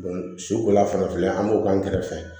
su kola fan fɛ an b'o k'an kɛrɛfɛ